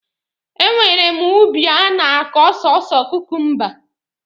E nwere m ubi a na-akọ sọsọ kukumba.